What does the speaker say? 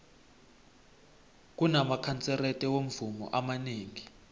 kunamakanserete womvumo amanengi